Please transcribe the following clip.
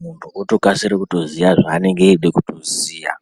Muntu otokasira kutoziya zvaanenge eida kutoziya.